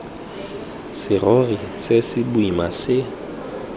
serori se se boima se